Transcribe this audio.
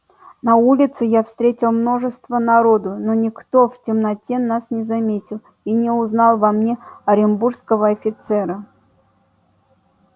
на улице я встретил множество народу но никто в темноте нас не заметил и не узнал во мне оренбургского офицера